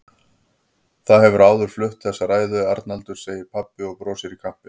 Þú hefur áður flutt þessa ræðu, Arnaldur, segir pabbi og brosir í kampinn.